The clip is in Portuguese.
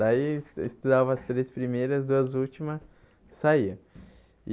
Daí, es estudava as três primeiras, as duas última, saía e.